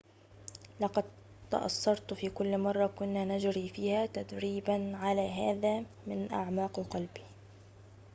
لقد تأثرت في كل مرة كنا نجري فيها تدريبًا على هذا من أعماق قلبي